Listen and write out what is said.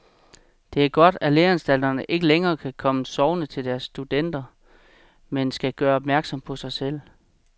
Det er godt, at læreanstalterne ikke længere kan komme sovende til deres studerende, men skal gøre opmærksom på sig selv.